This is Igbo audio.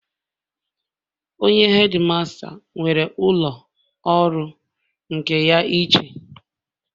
Onye hedimasta nwere ụlọ ọrụ nke ya iche